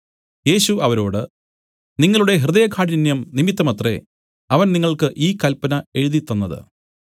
യേശു അവരോട് നിങ്ങളുടെ ഹൃദയകാഠിന്യം നിമിത്തമത്രേ അവൻ നിങ്ങൾക്ക് ഈ കല്പന എഴുതിത്തന്നത്